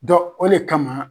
Dɔ o le kama